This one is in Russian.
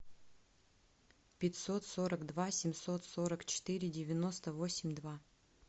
пятьсот сорок два семьсот сорок четыре девяносто восемь два